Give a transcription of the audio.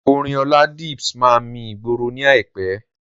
Orin Oladips máa mi ìgboro ní àìpé.